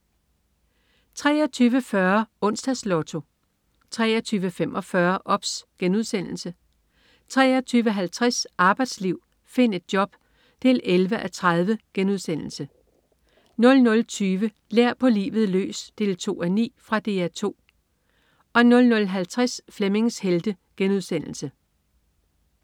23.40 Onsdags Lotto 23.45 OBS* 23.50 Arbejdsliv. Find et job! 11:30* 00.20 Lær på livet løs 2:9. Fra DR 2 00.50 Flemmings Helte*